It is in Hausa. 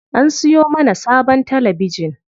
An siyo mana sabon talabijin.